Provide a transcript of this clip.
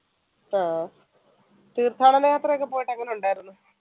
അഹ് തീർത്ഥാടന യാത്ര ഒക്കെ പോയിട്ട് എങ്ങനെ ഉണ്ടായിരുന്നു?